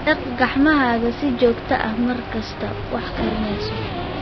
Dhaq gacmahaaga si joogta ah markaad wax karineyso.